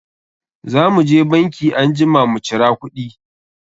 Za mu je banki anjima mu cira kuɗi.